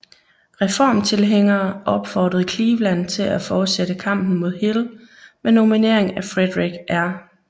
Reformtilhængere opfordrede Cleveland til at fortsætte kampen mod Hill med nominering af Frederic R